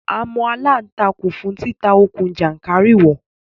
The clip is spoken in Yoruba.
A mọ aláǹtakùn fún títa okùn jàńkàrìwọ̀